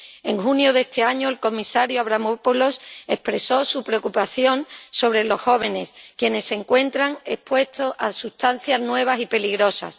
En junio de este año, el comisario Avramopoulos expresó su preocupación por los jóvenes, quienes se encuentran expuestos a sustancias nuevas y peligrosas.